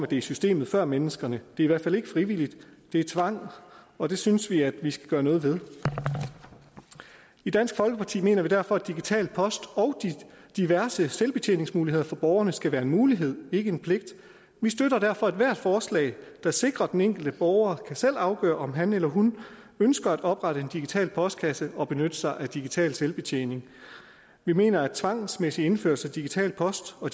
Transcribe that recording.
det er systemet før menneskerne det er i hvert fald ikke frivilligt det er tvang og det synes vi at vi skal gøre noget ved i dansk folkeparti mener vi derfor at digital post og diverse selvbetjeningsmuligheder for borgerne skal være en mulighed ikke en pligt vi støtter derfor ethvert forslag der sikrer at den enkelte borger selv kan afgøre om han eller hun ønsker at oprette en digital postkasse og benytte sig af digital selvbetjening vi mener at tvangsmæssig indførelse af digital post og